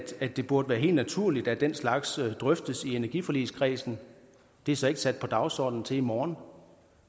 det burde være helt naturligt at den slags drøftes i energiforligskredsen det er så ikke sat på dagsordenen til i morgen